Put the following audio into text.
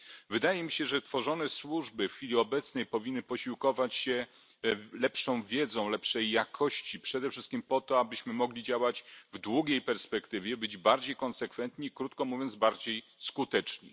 Wydaje mi się, że tworzone służby w chwili obecnej powinny posiłkować się wiedzą lepszej jakości, przede wszystkim po to, abyśmy mogli działać w długiej perspektywie, być bardziej konsekwentni, krótko mówiąc, bardziej skuteczni.